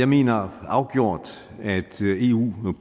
mener afgjort at eu